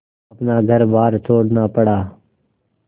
अपना घरबार छोड़ना पड़ा